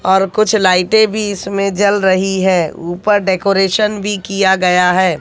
और कुछ लाइटे भी इसमे जल रही है। ऊपर डेकोरेशन भी किया गया है।